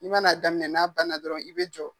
I man'a daminɛ n'a bana dɔrɔnw i bɛ jɔ